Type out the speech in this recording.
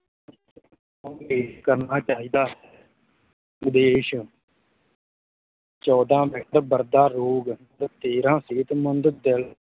ਕਰਨਾ ਚਾਹੀਦਾ ਹੈ ਵਿਦੇਸ਼ ਚੌਦਾਂ ਬਰਦਾ ਰੋਗ ਤੇ ਤੇਰਾਂ ਸਿਹਤਮੰਦ ਦਿਲ